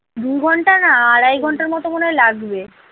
দুঘন্টা না আড়াই ঘন্টার মত মনে হয় লাগবে।